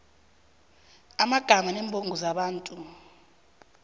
amagama neembongo zabantu